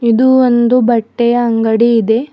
ಇದು ಒಂದು ಬಟ್ಟೆಯ ಅಂಗಡಿ ಇದೆ.